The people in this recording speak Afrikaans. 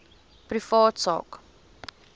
privaat sak